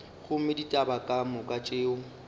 gomme ditaba ka moka tšeo